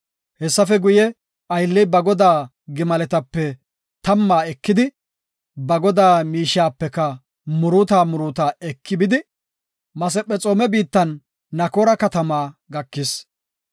Hessafe guye, aylley ba godaa gimaletape tamma ekidi, ba godaa miishiyapeka muruuta muruuta eki bidi Masephexoome biittan Nakoora katama gakis.